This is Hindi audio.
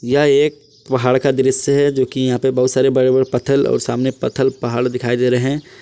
यह एक पहाड़ का दृश्य है जोकि यहां पे बहुत सारे बड़े बड़े पत्थल और सामने पत्थल पहाड़ दिखाई दे रहे--